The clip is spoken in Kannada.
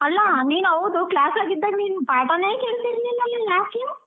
ಅಲ್ಲಾ ನಿನ್ ಹೌದು class ಸಾಗಿದ್ದಾಗ ನೀನ್ ಪಾಠಾನೇ ಕೇಳ್ತಿರ್ಲಿಲ್ಲಲ್ಲಾ ಯಾಕೆ?